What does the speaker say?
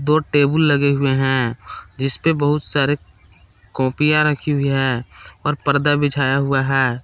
दो टेबूल लगे हुए हैं जिसपे बहुत सारे कॉपियां रखी हुई है और पर्दा बिछाया हुआ है।